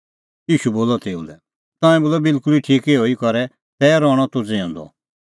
ईशू बोलअ तेऊ लै तंऐं बोलअ बिलकुल ठीक इहअ ई करै तै रहणअ तूह ज़िऊंदअ